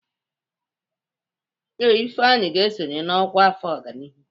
Ee, Ifeanyị ga-esonye n'ọkwá afọ ọganihu.